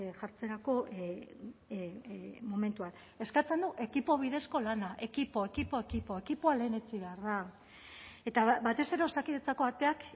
jartzerako momentuan eskatzen du ekipo bidezko lana ekipo ekipo ekipo ekipoa lehenetsi behar da eta batez ere osakidetzako ateak